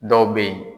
Dɔw bɛ yen